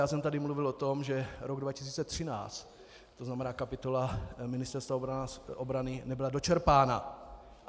Já jsem tady mluvil o tom, že rok 2013, to znamená kapitola Ministerstva obrany nebyla dočerpána.